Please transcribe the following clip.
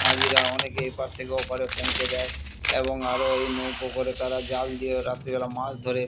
মাঝিরা অনেকে এপার থেকে ওপারে পৌঁছে দেয় এবং আরও এই নৌকো করে তারা জাল দিয়ে রাত্রিবেলা মাছ ধরে ।